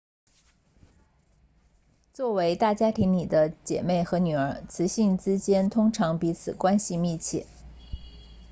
作为大家庭里的姐妹和女儿雌性之间通常彼此关系密切